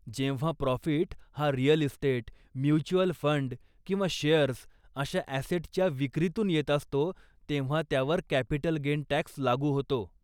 जेव्हा प्रॉफीट हा real estate, mutual fund किंवा शेअर्स अशा ॲसेटच्या विक्रीतून येत असतो, तेव्हा त्यावर कॅपिटल गेन टॅक्स लागू होतो.